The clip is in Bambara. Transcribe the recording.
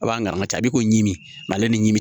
A b'an ka tabi ko ɲimi ale ni